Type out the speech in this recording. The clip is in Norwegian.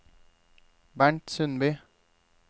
Bernt Sundby